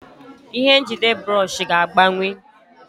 Ihe njide bụrọshị ga-agbanwe.